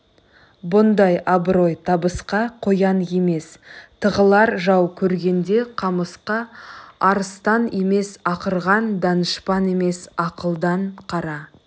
бұндай абырой табысқа қоян емес тығылар жау көргенде қамысқа арыстан емес ақырған данышпан емес ақылдан қара